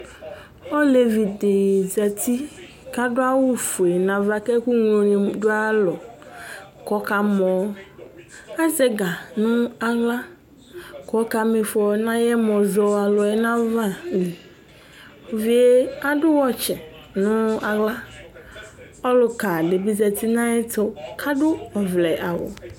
Ɔlevi di za uti ku adu awu fue nu ava ku ɛkuŋloni du ayu alɔ ku ɔkamɔ Azɛ ɛga nu aɣla ku ɔkamifɔ nu ayu ɛmɔzɔalu ava Uvie adu wɔtsi nu aɣla Ɔluka di bi za uti nu ayɛtu ku adu ɔvlɛawu